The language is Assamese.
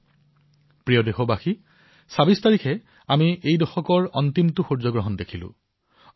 মোৰ মৰমৰ দেশবাসীসকল ২৬ তাৰিখে আমি এই দশকৰ অন্তিমটো সূৰ্যগ্ৰহণ প্ৰত্যক্ষ কৰিলো